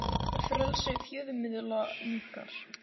Frelsi fjölmiðla minnkar